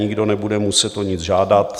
Nikdo nebude muset o nic žádat.